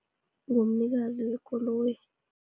Ngumnikazi wekoloyi.